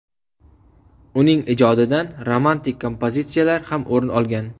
Uning ijodidan romantik kompozitsiyalar ham o‘rin olgan.